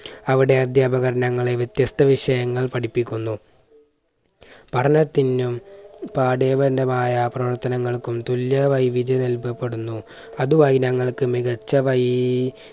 അവിടെ അധ്യാപകർ ഞങ്ങളെ വ്യത്യസ്ത വിഷയങ്ങൾ പഠിപ്പിക്കുന്നു. പഠനത്തിനും പാഠിയ ബന്ധമായ പ്രവർത്തനങ്ങൾക്കും തുല്യ വൈവിധ്യം നൽകപ്പെടുന്നു. അതുമായി ഞങ്ങൾക്ക് മികച്ച വൈ